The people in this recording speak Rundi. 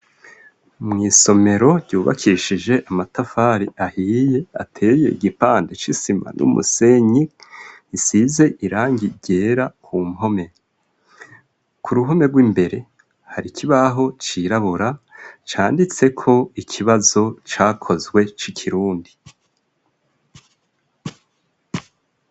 Mw'isomero ryubakishije amatafari ahiye ateye igipande c'isima n'umusenyi isize irangi ryera ku mpome. Ku ruhome rw'imbere hari ikibaho cirabura canditseko ikibazo cakozwe c'ikirundi.